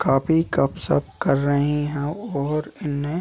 काफी गप् - शप कर रही है और इन्हें --